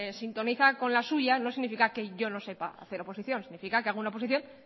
sintoniza con la suya no significa que yo no sepa hacer oposición significa que hago una oposición